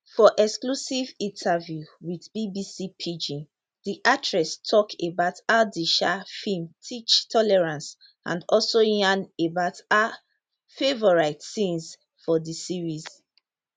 for exclusive interview wit bbc pidgin di actress tok about how di um feem teach tolerance and also yarn about her favourite scenes for di series